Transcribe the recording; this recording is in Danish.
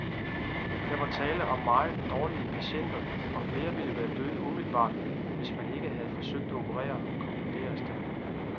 Der var tale om meget dårlige patienter, og flere ville være døde umiddelbart, hvis ikke man havde forsøgt at operere, konkluderes det.